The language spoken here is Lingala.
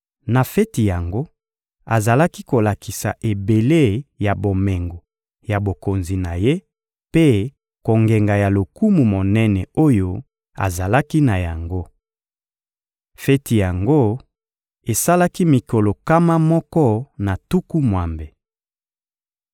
Na feti yango, azalaki kolakisa ebele ya bomengo ya bokonzi na ye mpe kongenga ya lokumu monene oyo azalaki na yango. Feti yango esalaki mikolo nkama moko na tuku mwambe.